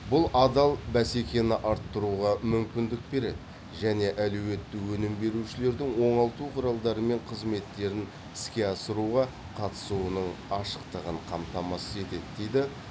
бұл адал бәсекені арттыруға мүмкіндік береді және әлеуетті өнім берушілердің оңалту құралдары мен қызметтерін іске асыруға қатысуының ашықтығын қамтамасыз етеді дейді